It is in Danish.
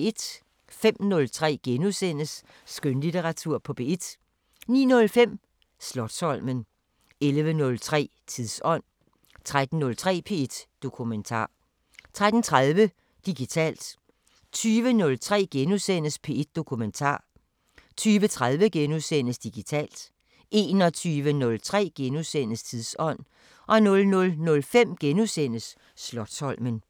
05:03: Skønlitteratur på P1 * 09:05: Slotsholmen 11:03: Tidsånd 13:03: P1 Dokumentar 13:30: Digitalt 20:03: P1 Dokumentar * 20:30: Digitalt * 21:03: Tidsånd * 00:05: Slotsholmen *